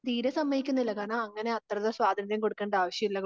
തീരെ സമ്മയിക്കുന്നില്ല കാരണം അങ്ങനെ അത്ര സ്വാതന്ത്ര്യം കൊടുക്കണ്ട ആവശ്യമില്ല